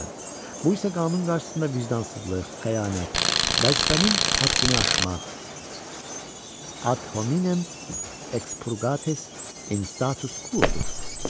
Bu isə qanun qarşısında vicdansızlıq, xəyanət, vəzifənin həddini aşmaq, Ad Hominem Exprurgates In Status Quo-dur.